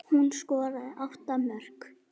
Hún skoraði átta mörk.